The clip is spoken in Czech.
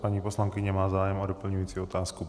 Paní poslankyně má zájem o doplňující otázku.